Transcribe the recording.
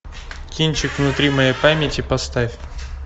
кинчик внутри моей памяти поставь